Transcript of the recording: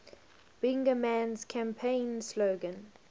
bingaman's campaign slogan